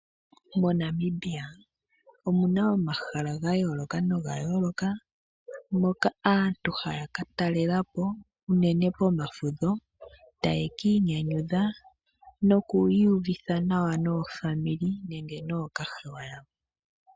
MoNamibia omu na omahala ga yooloka hoka aantu haya ka talela po unene pomafudho taye ki inyanyudha noku iyuvitha nawa naapambele nenge nookahewa kawo.